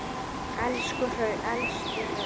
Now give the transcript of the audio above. Elstu hraun